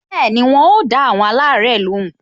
Bẹẹni, wọn o da awon alare lóhùn